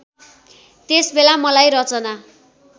त्यसबेला मलाई रचना